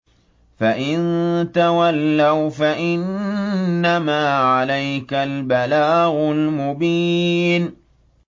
فَإِن تَوَلَّوْا فَإِنَّمَا عَلَيْكَ الْبَلَاغُ الْمُبِينُ